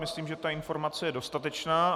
Myslím, že ta informace je dostatečná.